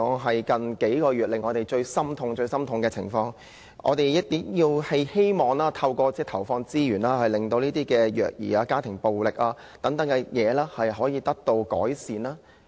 最近數月的虐兒案令人心痛，我們希望政府投放資源，令虐兒、家庭暴力等情況可以得到改善。